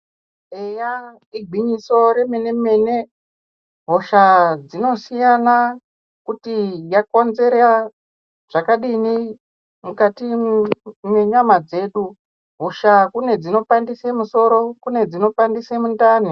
Eya igwinyiso remene-mene, hosha dzinosiyana, kuti yakonzera zvakadini mukati mwenyama dzedu. Hosha kune dzinopandise musoro, kune dzinopandise mindani.